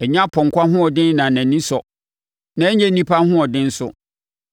Ɛnyɛ ɔpɔnkɔ ahoɔden na nʼani sɔ na ɛnyɛ onipa ahoɔden nso.